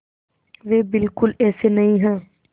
वे बिल्कुल ऐसे नहीं हैं